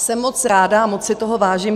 Jsem moc ráda a moc si toho vážím.